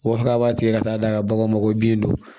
O fɔ an b'a tigɛ ka taa d'a ka bagan ma ko bin don